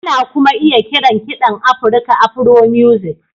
Ana kuma iya kiran kiɗan Afirka Afro-music